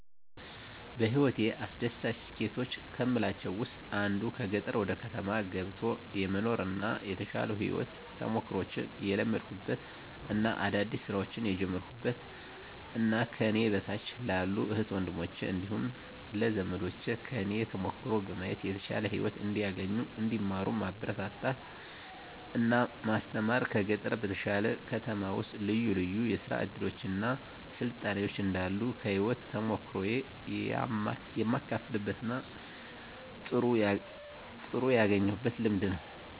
በህይወቴ አስደሳች ስኬቶች ከምላቸው ውስጥ አንዱ ከገጠር ወደ ከተማ ገብቶ የመኖር እና የተሻሉ የህይወት ተሞክሮችን የለመድኩበት እና አዳዲስ ስራዎችን የጀመርኩበት እና ከኔ በታች ላሉ እህት ወንድሞቸ እንዲሁም ለዘመዶቸ ከኔ ተሞክሮ በማየት የተሻለ ህይወት እንዲያገኙ እንዲማሩ ማበረታታት እና ማስተማር ከገጠር በተሻለ ከተማ ውስጥ ልዩ ልዩ የስራ እድሎች እና ስልጣኔዎች እንዳሉ ከህይወት ተሞክሮየ የማካፍልበት እና ጥሩ ያገኘሁት ልምድ ነው።